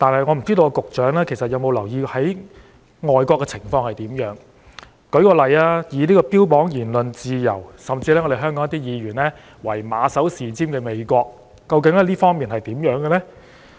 我不知道局長有否留意外國的情況，例如標榜言論自由，甚至香港有些議員以它為馬首是瞻的美國，究竟在這方面是怎樣的呢？